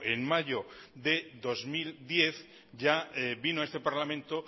en mayo de dos mil diez ya vino a este parlamento